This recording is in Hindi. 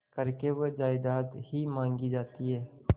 करके वह जायदाद ही मॉँगी जाती है